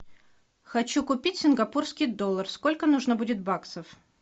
хочу купить сингапурский доллар сколько нужно будет баксов